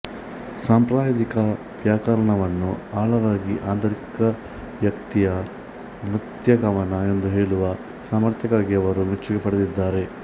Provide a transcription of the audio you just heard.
ಸಾಂಪ್ರದಾಯಿಕ ವ್ಯಾಕರಣವಾನ್ನು ಆಳವಾಗಿ ಆಂತರಿಕವೈಯಕ್ತಿಕ ನೃತ್ಯಕವನ ಎಂದು ಹೇಳುವ ಸಾಮರ್ಥ್ಯಕ್ಕಾಗಿ ಅವರು ಮೆಚ್ಚುಗೆ ಪಡೆದಿದ್ದಾರೆ